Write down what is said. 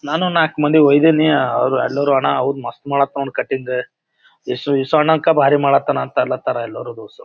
ಮೊನ್ನವಂದು ನಾಕ ಮಂದಿಗ ವೈದಿನಿ ಅವ್ರು ಎಲ್ಲೊರು ಅಣ್ಣಾ ಮಸ್ತ್ ಮಾಡಹತನ ಕಟಿಂಗ್ ಇಸು ಅಣ್ಣಕಿನ ಭಾರಿ ಮಾಡಕತನ ಅನ್ನಕ್ಹತ್ತರ ಎಲ್ಲರು ದೋಸ್ತುರು.